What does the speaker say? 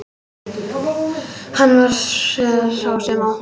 Hann var sá sem opnaði.